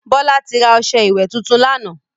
Bọ́lá ti ra ọṣẹ́ ìwè tuntun lánàá.